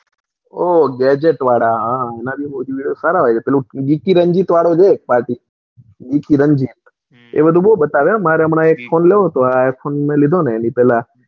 ઓહ gadget વાળા હા એના થી વધારે હાર લાગ્યા હો બીકે રંજીત વાળો છે એક પાર્ટી બીકે રંજીત હમ એ બધું બૌ બતાવે હો હમ મારે હમણાં એક phone લેવો હતો આ iphone મેં લીધો એના પેલા,